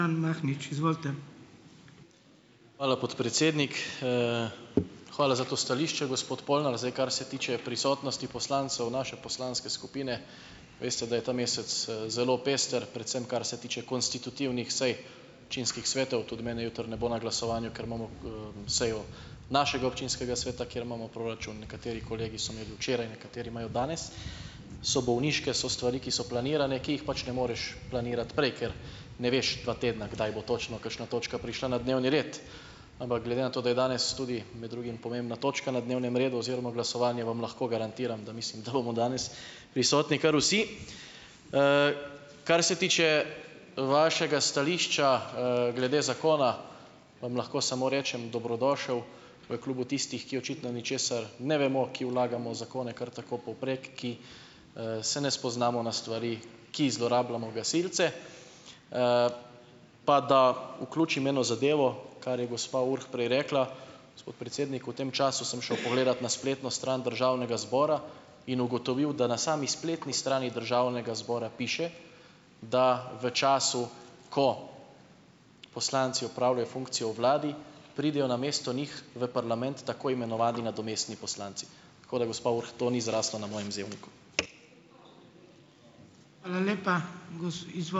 Hvala, podpredsednik. Hvala za to stališče, gospod Polnar. Zdaj, kar se tiče prisotnosti poslancev naše poslanske skupine, veste, da je ta mesec, zelo pester, predvsem kar se tiče konstitutivnih sej občinskih svetov. Tudi mene jutri ne bo glasovanju, ker imamo, sejo našega občinskega sveta, kjer imamo proračun. Nekateri kolegi so imeli včeraj, nekateri imajo danes, so bolniške, so stvari, ki so planirane, ki jih pač ne moreš planirati prej, ker ne veš dva tedna, kdaj bo točno kakšna točka prišla na dnevni red. Ampak glede na to, da je danes tudi med drugim pomembna točka na dnevnem redu oziroma glasovanje, vam lahko garantiram, da mislim, da bomo danes prisotni kar vsi. Kar se tiče vašega stališča, glede zakona vam lahko samo rečem, dobrodošel v klubu tistih, ki očitno ničesar ne vemo, ki vlagamo zakone kar tako povprek, ki se ne spoznamo na stvari, ki zlorabljamo gasilci. Pa da vključim eno zadevo, kar je gospa Urh prej rekla, gospod predsednik v tem času sem šel pogledat na spletno stran državnega zbora in ugotovil, da na sami spletni strani državnega zbora piše, da v času, ko poslanci opravljajo funkcijo v vladi, pridejo namesto njih v parlament tako imenovani nadomestni poslanci. Tako da gospa Urh, to ni zraslo na mojem zelniku.